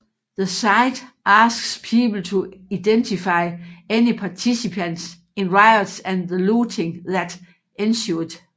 The site asks people to identify any participants in riots and the looting that ensued